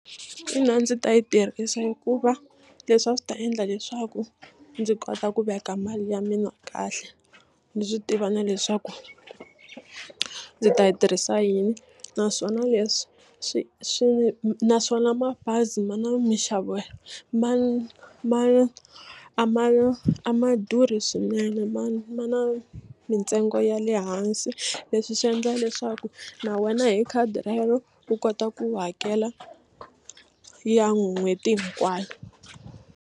Ina ndzi ta yi tirhisa hikuva leswi a swi ta endla leswaku ndzi kota ku veka mali ya mina kahle ndzi swi tiva na leswaku ndzi ta yi tirhisa yini naswona leswi swi naswona mabazi a ma na minxavo ma ma a ma a ma durhi swinene ma ma na mintsengo ya le hansi leswi swi endla leswaku na wena hi khadi rero u kota ku hakela ya n'hweti hinkwayo.